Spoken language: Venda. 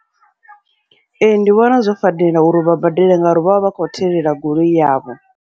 Ee, ndi vhona zwo fanela uri vha badele, ngauri vha vha vha kho thelela goloi yavho.